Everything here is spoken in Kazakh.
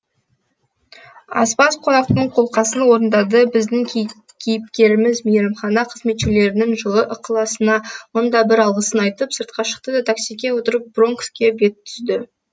аспаз қонақтың қолқасын орындады біздің кейіпкеріміз мейрамхана қызметшілерінің жылы ықыласына мың да бір алғысын айтып сыртқа шықты да таксиге отырып бронкске бет түзді